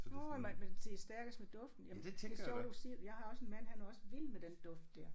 Nåh mens mens de er stærkest med duften jamen det er sjovt du siger det jeg har også en mand han er også vild med den duft der